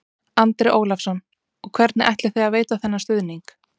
Andri Ólafsson: Og hvernig ætlið þið að veita þennan stuðning?